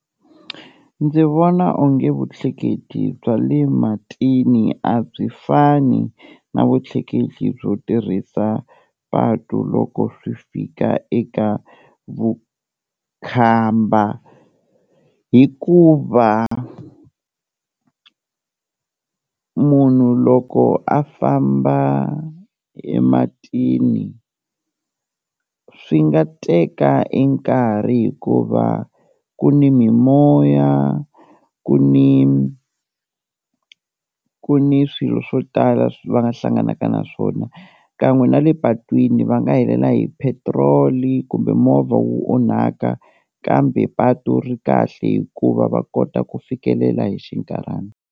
Ndzi vona onge vutleketli bya le matini a byi fani na vutleketli byo tirhisa patu loko swi fika eka vukhamba, hikuva munhu loko a famba ematini swi nga teka e nkarhi hikuva ku ni mimoya, ku ni ku ni swilo swo tala va nga hlanganaka na swona kan'we na le patwini va nga helela hi petrol kumbe movha wu onhaka, kambe patu ri kahle hikuva va kota ku fikelela hi xinkarhana.